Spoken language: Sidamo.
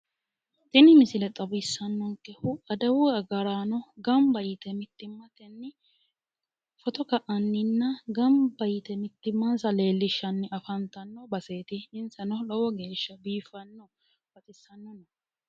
Tini misile xawisanonkehu adawu agarano gamba yite ittimmatenni footto ka"anni mittimansa leelishanni no garati insano lowo geeshsha baxisano biifano